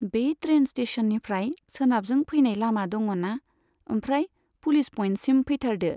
बे ट्रेइन स्टेशननिफ्राय सोनाबजों फैनाय लामा दङना, ओमफ्राय पुलिस पइन्टसिम फैथारदो।